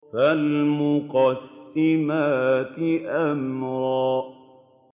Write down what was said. فَالْمُقَسِّمَاتِ أَمْرًا